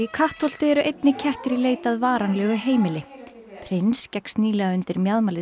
Kattholti eru einnig kettir í leit að varanlegu heimili prins gekkst nýlega undir